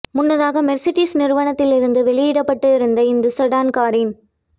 முன்னதாக மெர்சிடிஸ் நிறுவனத்தில் இருந்து வெளியிடப்பட்டு இருந்த இந்த செடான் காரின்